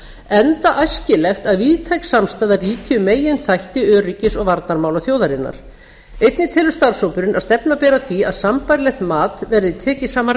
enda æskilegt að víðtæk samstaða ríki um meginþætti öryggis og varnarmála þjóðarinnar einnig telur starfshópurinn að stefna beri að því að sambærilegt mat verði tekið saman